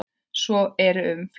Svo er um fleiri.